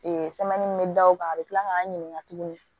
sɛmɛni min bɛ da u kan a bɛ tila k'an ɲininka tuguni